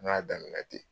N y'a daminɛ ten